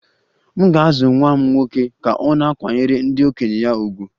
M ga-azụ nwa m nwoke ka ọ na-akwanyere ndị okenye ya ùgwù